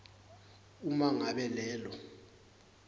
uma ngabe lelo